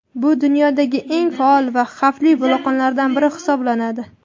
Bu dunyodagi eng faol va xavfli vulqonlardan biri hisoblanadi.